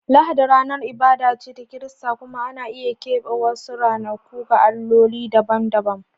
Lahadi ranar ibada ce ta Kirista, kuma ana iya keɓe wasu ranaku ga alloli dabam-dabam.